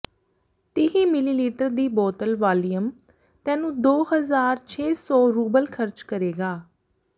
ਤੀਹ ਿਮਲੀਲੀਟਰ ਦੀ ਬੋਤਲ ਵਾਲੀਅਮ ਤੈਨੂੰ ਦੋ ਹਜ਼ਾਰ ਛੇ ਸੌ ਰੂਬਲ ਖ਼ਰਚ ਕਰੇਗਾ